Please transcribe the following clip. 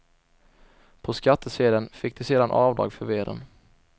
På skattesedeln fick de sedan avdrag för veden.